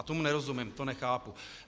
A tomu nerozumím, to nechápu.